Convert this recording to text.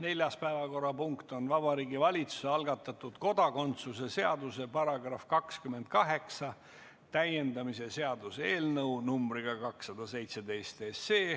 Neljas päevakorrapunkt on Vabariigi Valitsuse algatatud kodakondsuse seaduse § 28 täiendamise seaduse eelnõu 217.